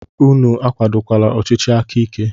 Unu akwadola ọchịchị aka ike!